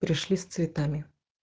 пришли с цветами